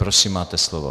Prosím, máte slovo.